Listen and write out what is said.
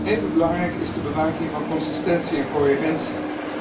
Even belangrijk is de bewaking van consistentie en coherentie.